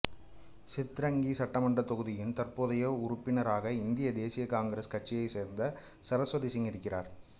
சித்ரங்கி சட்டமன்றத் தொகுதியின் தற்போதைய உறுப்பினராக இந்திய தேசிய காங்கிரஸ் கட்சியைச் சேர்ந்த சரஸ்வதி சிங் இருக்கிறார்